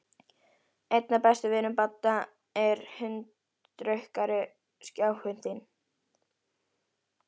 Einn af bestu vinum Badda er handrukkari, kjáninn þinn.